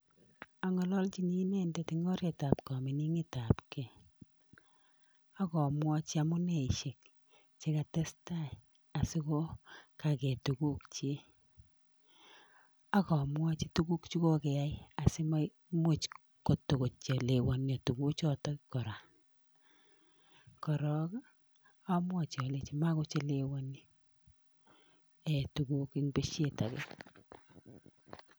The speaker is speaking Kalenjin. Ang'ololchini inendet eng oretab kamining'etabkey akamwachi amuneishe chekatestai sikokagei tukukchi. Ak amwachi tukuk chekokeyai asimaimuch kotakochelewanio tukuchotok kora. Korok amwachi alechi makochelewani tukuchotok eng peshet age.